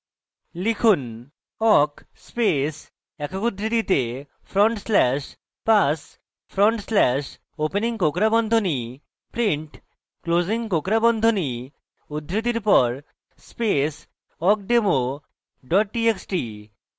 লিখুন: awk space awk উদ্ধৃতিতে front slash pass front slash opening কোঁকড়া বন্ধনী print closing কোঁকড়া বন্ধনী উদ্ধৃতির pass space awkdemo txt txt